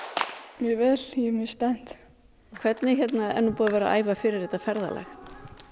mjög vel ég er mjög spennt hvernig er búið að vera að æfa fyrir þetta ferðalag